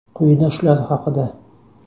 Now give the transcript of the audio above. Quyida shular haqida.